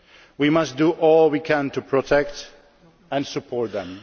We must do all we can to protect and support them.